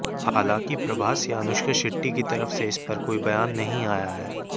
हालांकि प्रभास या अनुष्का शेट्टी की तरफ से इस पर कोई बयान नहीं आया है